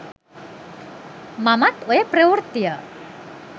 මමත් ඔය ප්‍රවෘත්තිය